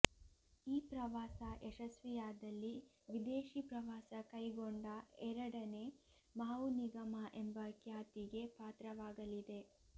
ಈ ಪ್ರವಾಸ ಯಶಸ್ವಿಯಾದಲ್ಲಿ ವಿದೇಶಿ ಪ್ರವಾಸ ಕೈಗೊಂಡ ಎರಡನೆ ಮಾವು ನಿಗಮ ಎಂಬ ಖ್ಯಾತಿಗೆ ಪಾತ್ರವಾಗಲಿದೆ